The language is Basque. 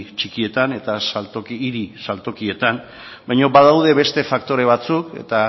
txikietan eta hiri saltokietan baina badaude beste faktore batzuk eta